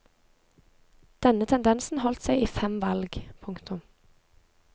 Denne tendensen holdt seg i fem valg. punktum